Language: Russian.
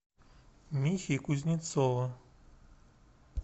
михи кузнецова